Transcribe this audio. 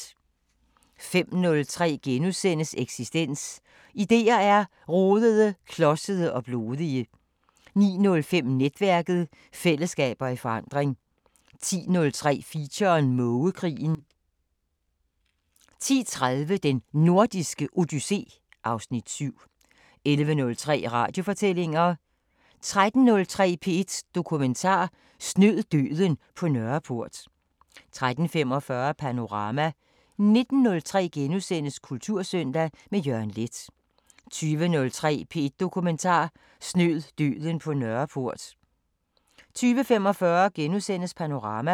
05:03: Eksistens: Idéer er rodede, klodsede og blodige * 09:05: Netværket: Fællesskaber i forandring 10:03: Feature: Mågekrigen 10:30: Den Nordiske Odyssé (Afs. 7) 11:03: Radiofortællinger 13:03: P1 Dokumentar: Snød døden på Nørreport 13:45: Panorama 19:03: Kultursøndag – med Jørgen Leth * 20:03: P1 Dokumentar: Snød døden på Nørreport 20:45: Panorama *